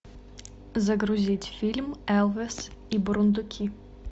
загрузить фильм элвин и бурундуки